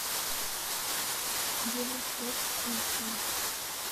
евроспорт эйч ди